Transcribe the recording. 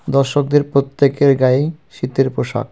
দর্শকদের প্রত্যেকের গায়ে শীতের পোশাক.